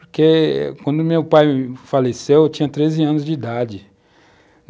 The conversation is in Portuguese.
Porque quando meu pai faleceu, eu tinha 13 anos de idade.